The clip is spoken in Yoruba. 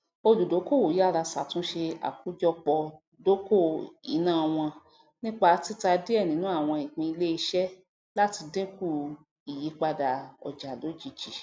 oludokoowo yárá ṣatunṣe àkójọpọidoko iná wọn nípa tita diẹ ninu awọn ìpín iléiṣẹ lati dinkù ìyípadà ọjà lojiji